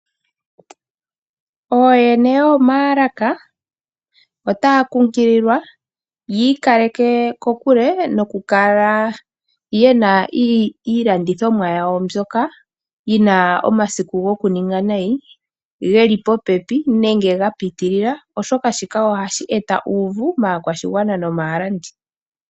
Ooyene yoomaalaka otaya nkunkililwa yi ikaleke kokule nokukala ye na iilandithomwa yawo mbyoka yi na omasiku gokuninga nayi geli popepi nenge ga pitilila oshoka shika ohashi eta uuvu maakwashigwana nomaalandi.